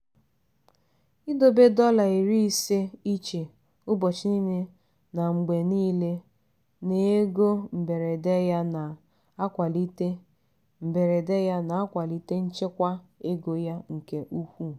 idobe dọla iri ise iche ụbọchị niile na mgbe niile n'ego mberede ya na-akwalite mberede ya na-akwalite nchekwa ego ya nke ukwuu.